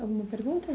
Alguma pergunta?